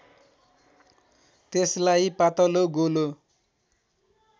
त्यसलाई पातलो गोलो